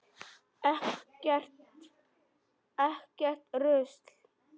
Ekkert rusl.